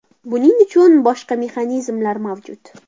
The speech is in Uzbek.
Buning uchun boshqa mexanizmlar mavjud.